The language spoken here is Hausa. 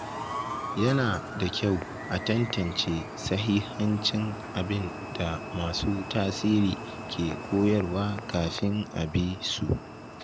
Yana da kyau a tantance sahihancin abin da masu tasiri ke koyarwa kafin a bi su.